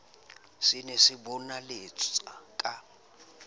se ne se bonaletsa ka